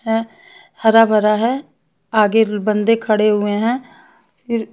है हरा भरा है आगे बंदे खड़े हुए हैं फिर--